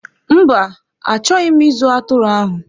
Mba, achọghị m ịzụ atụrụ ahụ.